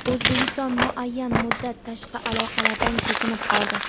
O‘zbekiston muayyan muddat tashqi aloqalardan chekinib qoldi.